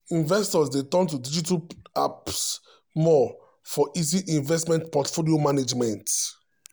investors dey turn to digital apps more for for easy investment portfolio management.